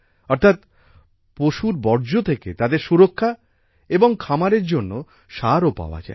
অর্থাৎ পশুর বর্জ্য থেকে তাদের সুরক্ষা এবং খামারের জন্য সারও পাওয়া যায়